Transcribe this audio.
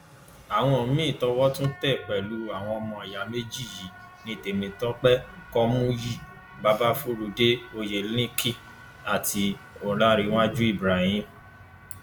àwọn míín towó tún tẹ pẹlú àwọn ọmọ ìyá méjì yìí ní temitope kọmúyí babafurudé oyelekin àti ọlárèwájú ibrahim